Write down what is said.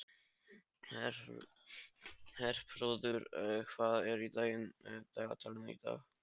Herþrúður, hvað er í dagatalinu í dag?